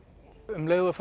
um leið og